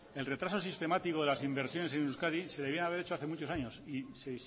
el retraso sistemático de las inversiones en euskadi se debieran haber hecho hace muchos años y se